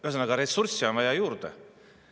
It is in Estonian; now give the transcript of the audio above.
Ühesõnaga, ressursse on juurde vaja.